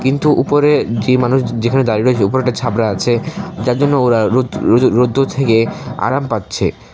কিন্তু উপরে যে মানুষ যেখানে দাঁড়িয়ে রয়েছে উপরে একটা ছাবরা আছে যার জন্য ওরা রোদ রোদে রোদ্দুর থেকে আরাম পাচ্ছে।